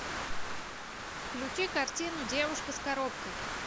включи картину девушка с коробкой